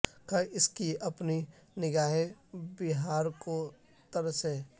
کہ اس کی اپنی نگا ہیں بہار کو تر سیں